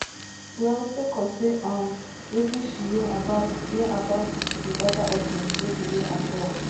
well sake of say um wetin she hear about hear about di oda options no be hear at all